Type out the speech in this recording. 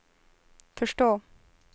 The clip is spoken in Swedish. förstå